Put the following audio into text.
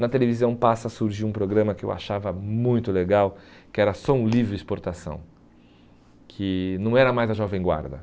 Na televisão passa a surgir um programa que eu achava muito legal, que era Som Livre Exportação, que não era mais a Jovem Guarda.